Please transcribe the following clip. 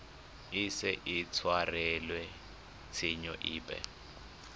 ise a tshwarelwe tshenyo epe